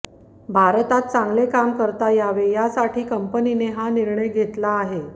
भारतात चांगले काम करता यावे यासाठी कंपनीने हा निर्णय घेतला आहे